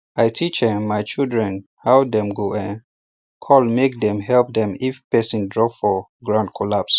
i teach um my children how dem go um call make dem um help them if person drop for ground collapse